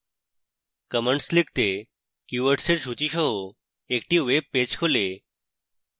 commands লিখতে keywords এর সূচী সহ একটি webpage খোলে